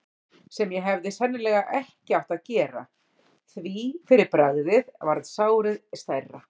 sem ég hefði sennilega ekki átt að gera, því fyrir bragðið varð sárið stærra.